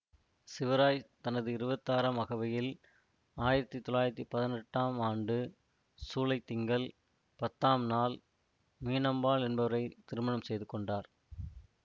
சிவராஜ்தனது இருபத்தி ஆறாம் அகவையில் ஆயிரத்தி தொள்ளாயிரத்தி பதினெட்டாம் ஆண்டு சூலைத்திங்கள் பத்தாம் நாள் மீனம்பாள் என்பவரை திருமணம் செய்துகொண்டார்